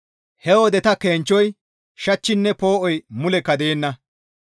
He wode ta kenchchoy, shachchinne poo7oy mulekka deenna.